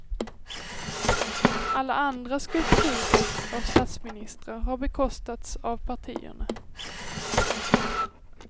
Alla andra skulpturer av statsministrar har bekostats av partierna.